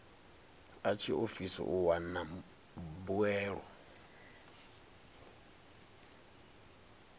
a tshiofisi u wana mbuelo